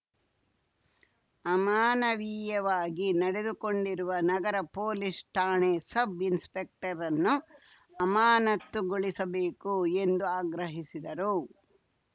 ಅಮಾನವೀಯವಾಗಿ ನಡೆದುಕೊಂಡಿರುವ ನಗರ ಪೊಲೀಸ್‌ ಠಾಣೆ ಸಬ್‌ ಇನ್ಸ್‌ಸೆಕ್ಟರನ್ನು ಅಮಾನತುಗೊಳಿಸಬೇಕು ಎಂದು ಆಗ್ರಹಿಸಿದರು